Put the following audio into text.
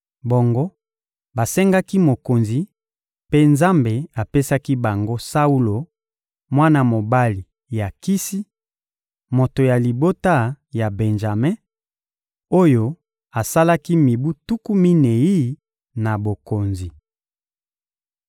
Bongo, basengaki mokonzi, mpe Nzambe apesaki bango Saulo, mwana mobali ya Kisi, moto ya libota ya Benjame, oyo asalaki mibu tuku minei na bokonzi.